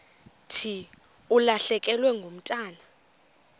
thi ulahlekelwe ngumntwana